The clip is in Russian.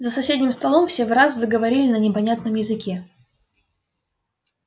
за соседним столом все враз заговорили на непонятном языке